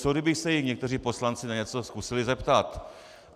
Co kdyby se jich někteří poslanci na něco zkusili zeptat?